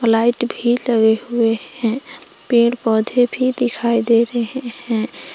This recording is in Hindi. लाइट भी लगे हुए हैं पेड़ पौधे भी दिखाई दे रहे हैं।